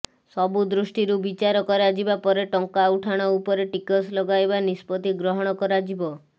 ସବୁ ଦୃଷ୍ଟିରୁ ବିଚାର କରାଯିବା ପରେ ଟଙ୍କା ଉଠାଣ ଉପରେ ଟିକସ ଲଗାଇବା ନିଷ୍ପତ୍ତି ଗ୍ରହଣ କରାଯିବ